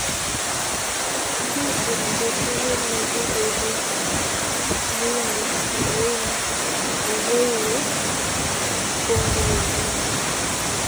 kacheer agetugul negigobuun uinda neu nii agoiwei kongalaleen